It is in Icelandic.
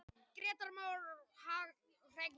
Grétar Mar Hreggviðsson.